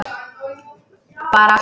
Bara allt fínt.